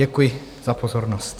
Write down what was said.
Děkuji za pozornost.